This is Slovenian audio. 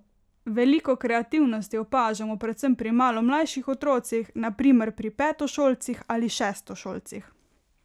Veliko kreativnosti opažamo predvsem pri malo mlajših otrocih, na primer pri petošolcih ali šestošolcih.